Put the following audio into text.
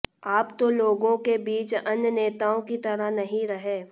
आप तो लोगों के बीच अन्य नेताओं की तरह नहीं रहे